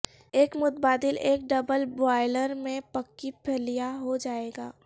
ایک متبادل ایک ڈبل بوائلر میں پکی پھلیاں ہو جائے گا